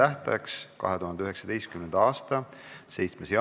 Oleme lõpetanud ka viienda päevakorrapunkti menetlemise ja sellega on lõppenud ka meie tänane istung.